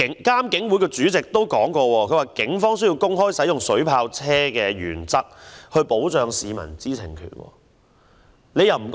監警會主席也曾表示，警方需要公開使用水炮車的原則，以保障市民的知情權。